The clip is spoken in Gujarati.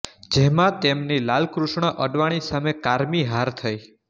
જેમાં તેમની લાલકૃષ્ણ અડવાણી સામે કારમી હાર થઈ